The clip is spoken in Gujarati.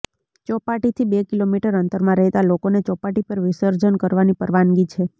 ચોપાટીથી બે કિલોમીટર અંતરમાં રહેતા લોકોને ચોપાટી પર વિસર્જન કરવાની પરવાનગી છે